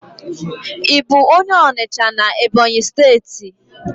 I bu onye Onicha na Ebonyi steeti?